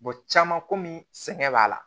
caman kɔmi sɛgɛn b'a la